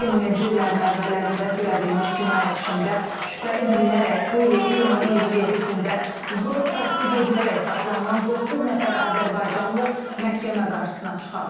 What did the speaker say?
2000-ci illərin əvvəllərində törədilmiş cinayət işində şübhəli bilinərək bu ilin iyunun 27-də zor tətbiq edilərək saxlanılan doqquz nəfər azərbaycanlı məhkəmə qarşısına çıxarılıb.